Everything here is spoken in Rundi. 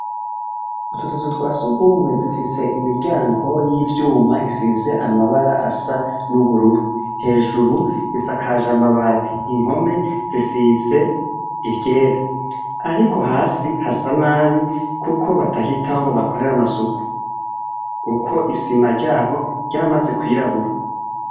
Utu tuzu twa Sugumwe dufise imiryango y’ivyuma isize amabara asa n’ubururu, hejuru isakaj’amabati, impome zisize iryera. Ariko hasi hasa nabi kuko batahitaho ngo bahakorere amasuku. Kuko isima ryaho ryaramaze kwirabura.